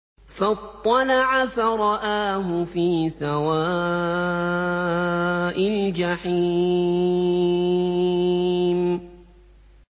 فَاطَّلَعَ فَرَآهُ فِي سَوَاءِ الْجَحِيمِ